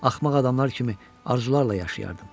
Axmaq adamlar kimi arzularla yaşayardım.